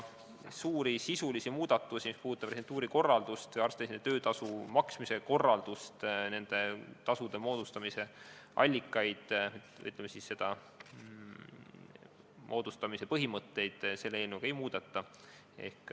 Suuri sisulisi muudatusi, mis puudutavad residentuuri korraldust või arst-residendi töötasu maksmise korraldust, nende tasude moodustamise allikaid ja, ütleme, moodustamise põhimõtteid, selle eelnõuga ei tehta.